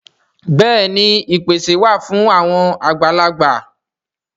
Bẹ́ẹ̀ni ìpèsè wà fún àwọn àgbàlagbà